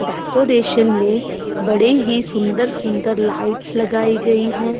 Decoration में बड़े ही सुन्दर सुन्दर लाइट्स लगायी गयी हैं।